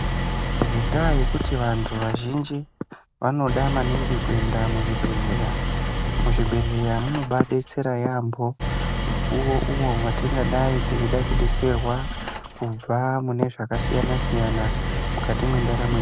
Ngenda yekuti vantu vazhinji vanoda maningi kuenda muzvibhedhlera muzvibhedhlera zvinodetsera vantu yambo mukuwo uwo watinenge teida kudetserwa kubva umo matinge zvakasiyana siyana mukati mwendaramo yedu.